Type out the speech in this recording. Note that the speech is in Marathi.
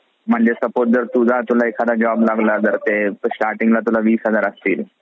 म्हणजे जर suppose तुला जर असलं एखादा job लागला जर ला तुला वीस हजार असतील